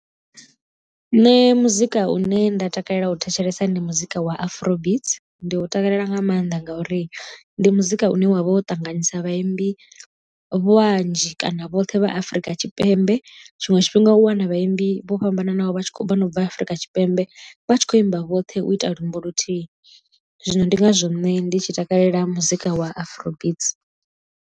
Nṋe muzika une nda takalela u thetshelesa ndi muzika wa afro beats ndi u takalela nga maanḓa ngauri ndi muzika une wavha wo ṱanganyisa vhaimbi vhanzhi kana vhoṱhe vha afurika tshipembe tshiṅwe tshifhinga u wana vhaimbi vho fhambananaho vha tshi khou vha na ubva afurika tshipembe vha tshi kho imba vhoṱhe u ita luambo luthihi zwino ndi ngazwo nṋe ndi tshi takalela muzika wa afro beats.